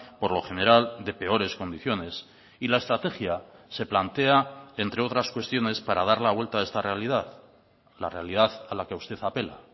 por lo general de peores condiciones y la estrategia se plantea entre otras cuestiones para dar la vuelta a esta realidad la realidad a la que usted apela